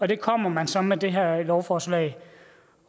det kommer man så med det her lovforslag